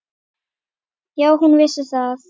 Já, hún vissi það.